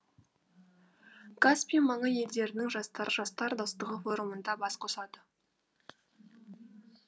каспий маңы елдерінің жастары жастар достығы форумында бас қосады